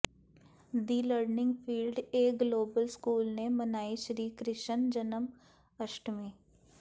the learning field a global school ਨੇ ਮਨਾਈ ਸ਼੍ਰੀ ਕ੍ਰਿਸ਼ਨ ਜਨਮ ਅਸ਼ਟਮੀ